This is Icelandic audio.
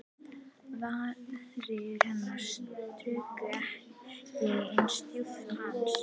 Varir hennar sukku ekki eins djúpt og hans.